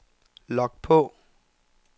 log på